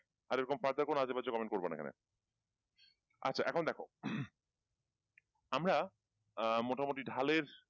আর এরকম further কোন আজেবাজে comment করবা না এখানে আচ্ছা এখন দেখো হম আমরা আহ মোটামুটি ঢালের,